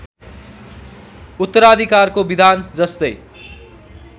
उत्तराधिकारको विधान जस्तै